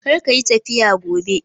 Kar ka yi tafiya gobe!